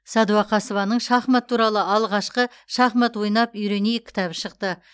сәдуақасованың шахмат туралы алғашқы шахмат ойнап үйренейік кітабы шықты